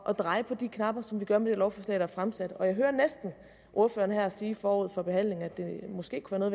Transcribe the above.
at dreje på de knapper som vi gør med det lovforslag der er fremsat jeg hører næsten ordføreren her sige forud for behandlingen at det måske kunne være